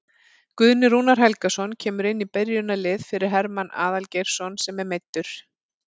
Guðni Rúnar Helgason kemur inn í byrjunarliðið fyrir Hermann Aðalgeirsson sem er meiddur.